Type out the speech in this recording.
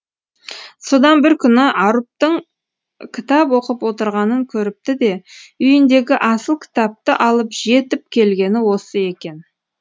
содан бір күні арұптың кітап оқып отырғанын көріпті де үйіндегі асыл кітапті алып жетіп келгені осы екен